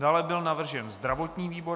Dále byl navržen zdravotní výbor.